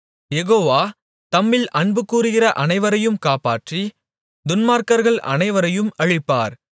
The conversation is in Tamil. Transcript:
யெகோவா தம்மில் அன்புகூருகிற அனைவரையும் காப்பாற்றி துன்மார்க்கர்கள் அனைவரையும் அழிப்பார்